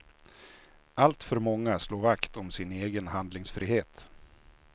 Alltför många slår vakt om sin egen handlingsfrihet.